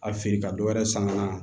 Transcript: A feere ka dɔ wɛrɛ san ka na